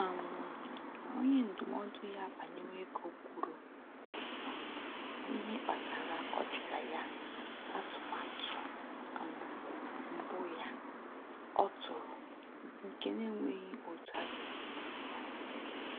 um Onye ndụmọdụ ya banyere ego kwuru um n'ihe kpatara ọdịda ya atụmatụ um mbụ ya ọ tụrụ nke na-enweghị otu a ga-esi mee ya